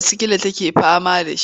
Ciwon sikila take fama da shi.